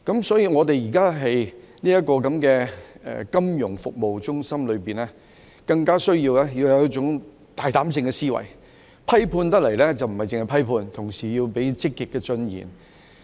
所以，我們現時的金融服務中心，更加需要有一種大膽思維，批判時不單是批判，同時也要提出積極的進言。